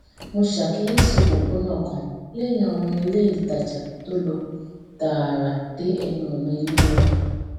mo ṣàkíyèsí òpópónà kan léyìn àwọn iléìtajà tó lọ tààrà dé ẹnu ọnà ilé wa